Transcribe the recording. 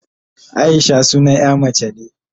Aisha sunan ƴa mace be